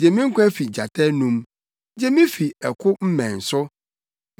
Gye me nkwa fi gyata anom; gye me fi ɛko mmɛn so.